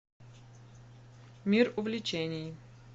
мир увлечений